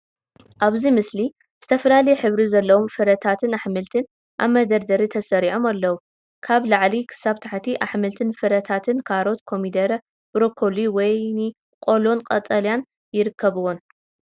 ኣብዚ ምስሊ ዝተፈላለየ ሕብሪ ዘለዎም ፍረታትን ኣሕምልትን ኣብ መደርደሪ ተሰሪዖም ኣለዉ። ካብ ላዕሊ ክሳብ ታሕቲ ኣሕምልትን ፍረታትን ካሮት፡ ኮሚደረ፡ ብሮኮሊ፡ ወይኒ፡ ቆሎን ቀጠልያን ይርከብዎም።